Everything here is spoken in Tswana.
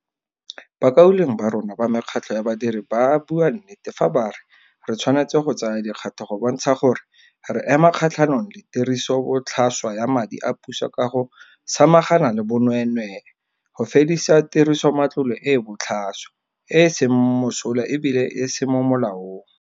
Bakaulengwe ba rona ba mekgatlho ya badiri ba bua nnete fa ba re re tshwanetse go tsaya dikgato go bontsha gore re ema kgatlhanong le tirisobotlhaswa ya madi a puso ka go samagana le bonweenwee, go fedisa tirisomatlole e e botlhaswa, e e seng mosola e bile e se mo molaong.